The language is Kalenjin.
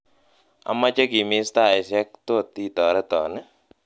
amoje kimis taisiek tot itoreton ii